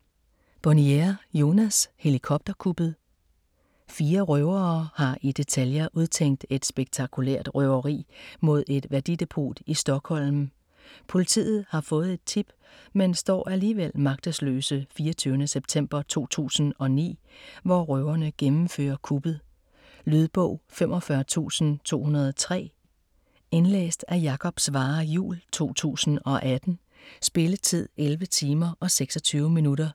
Bonnier, Jonas: Helikopterkuppet Fire røvere har i detaljer udtænkt et spektakulært røveri mod et værdidepot i Stockholm. Politiet har fået et tip, men står alligevel magtesløse 24. september 2009, hvor røverne gennemfører kuppet. Lydbog 45203 Indlæst af Jakob Svarre Juhl, 2018. Spilletid: 11 timer, 26 minutter.